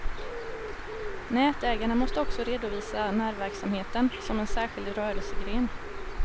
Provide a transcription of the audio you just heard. Nätägarna måste också redovisa närverksamheten som en särskild rörelsegren.